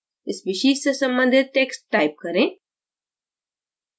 species से संबंधित text type करें